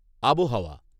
আবহাওয়া